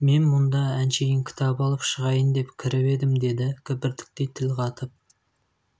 мен мұнда әншейін кітап алып шығайын деп кіріп едім деді кібіртіктей тіл қатып